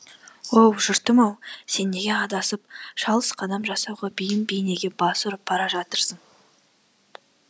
оу жұртым ау сен неге адасып шалыс қадам жасауға бейім бейнеге бас ұрып бара жатырсың